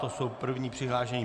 To jsou první přihlášení.